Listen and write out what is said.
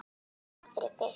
Graf fyrir fisk.